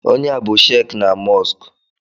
Onye a bụ shek na Mọsk